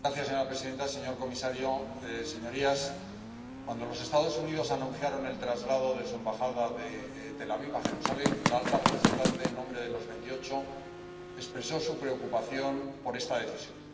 Señora presidenta, señor comisario, señorías, cuando los Estados Unidos anunciaron el traslado de su embajada de Tel Aviv a Jerusalén, la alta representante, en nombre de los Veintiocho, expresó su preocupación por esta decisión.